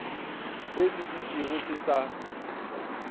se se dutšego se sa